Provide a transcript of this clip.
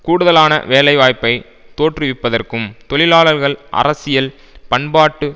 கூடுதலான வேலைவாய்ப்பை தோற்றுவிப்பதற்கும் தொழிலாளர்கள் அரசியல் பண்பாட்டு